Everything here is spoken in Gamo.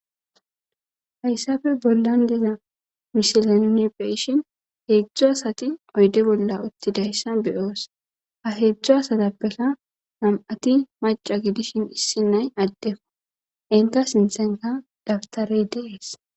Hayssappe bollan de'iza misileninne be'ishin hedzdzu asatti oydde bolla uttidayssa be'os. Ha hedzdzu asatappekka nam'atti maaca gidishin issi na'ay addeliya. Hentta sinttan daptare de'es.